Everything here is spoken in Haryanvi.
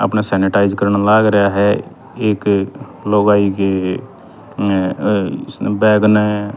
आपणह सेनीटाइज़ करण लाग रया ह ए एक लुगाई के अ इसन्ह बैग न--